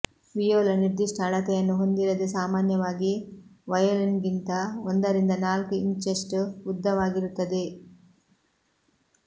viola ನಿರ್ದಿಷ್ಟ ಅಳತೆಯನ್ನು ಹೊಂದಿರದೆ ಸಾಮಾನ್ಯವಾಗಿ ವಯೊಲಿನ್ಗಿಂತ ಒಂದರಿಂದ ನಾಲ್ಕು ಇಂಚುಷ್ಟು ಉದ್ದವಾಗಿರುತ್ತದೆ